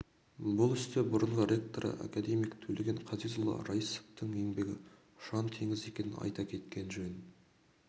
бұл істе бұрынғы ректоры акедемик төлеген қазезұлы раисовтың еңбегі ұшан-теңіз екенін айта кеткен жөн